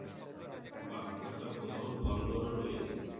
বাহ একটা বড়ো Hall ঘর ও রয়েছে